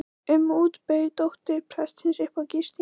um út bauð dóttir prestsins upp á gistingu.